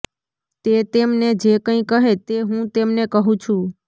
તે તેમને જે કંઈ કહે તે હું તેમને કહું છું